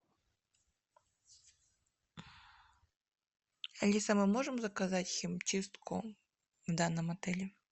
алиса мы можем заказать химчистку в данном отеле